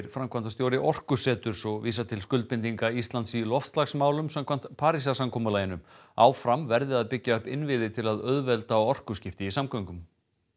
framkvæmdastjóri Orkuseturs og vísar til skuldbindinga Íslands í loftslagsmálum samkvæmt Parísarsamkomulaginu áfram verði að byggja upp innviði til að auðvelda orkuskipti í samgöngum